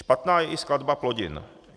Špatná je i skladba plodin.